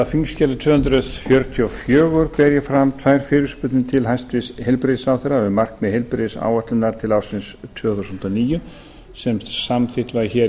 þingskjali tvö hundruð fjörutíu og fjögur ber ég fram tvær fyrirspurnir til hæstvirts heilbrigðisráðherra um markmið heilbrigðisáætlunar til ársins tvö þúsund og níu sem samþykkt var í